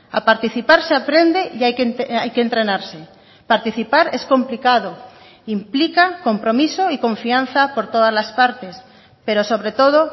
a participar se aprende y hay que entrenarse participar es complicado implica compromiso y confianza por todas las partes pero sobre todo